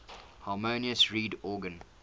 harmonium reed organ